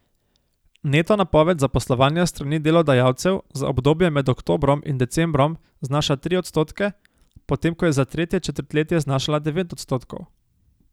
Neto napoved zaposlovanja s strani delodajalcev za obdobje med oktobrom in decembrom znaša tri odstotke, potem ko je za tretje četrtletje znašala devet odstotkov.